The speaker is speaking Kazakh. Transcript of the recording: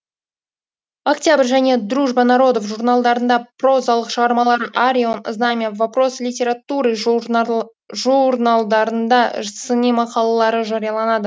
октябрь және дружба народов журналдарында прозалық шығармалары арион знамя вопросы литературы журналдарында сыни мақалалары жарияланады